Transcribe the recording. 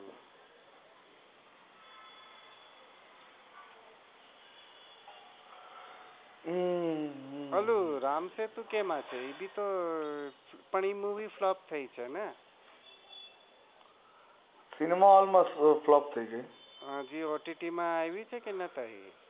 હમ્મ અલ રામસેતુ કેમ છે પણ એતો movie flop થઇ છે ને ott માં આવી છે કે નાઈ